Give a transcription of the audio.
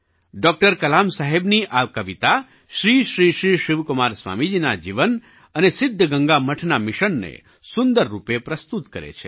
doctor Kalam સાહેબની આ કવિતા શ્રી શ્રી શ્રી શિવકુમાર સ્વામીજીના જીવન અને સિદ્ધગંગા મઠના મિશનને સુંદર રૂપે પ્રસ્તુત કરે છે